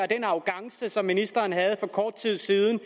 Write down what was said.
den arrogance som ministeren havde for kort tid siden